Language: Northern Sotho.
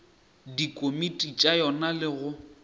dikomiti tša yona le go